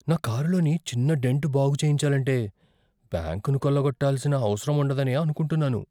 నా కారులోని చిన్న డెంట్ బాగు చేయించాలంటే బ్యాంకును కొల్లగొట్టాల్సిన అవసరముండదనే అనుకుంటున్నాను.